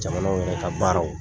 Jamanaw yɛrɛw ka baaraw.